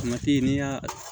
n'i y'a